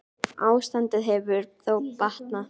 Ástandið hefur þó batnað.